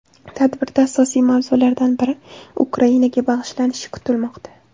Tadbirda asosiy mavzulardan biri Ukrainaga bag‘ishlanishi kutilmoqda.